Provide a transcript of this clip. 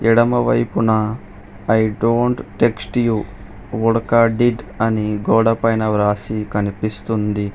ఎడమ వైపున I don't text you ఉడక డిడ్ అని గోడ పైన వ్రాసి కనిపిస్తుంది.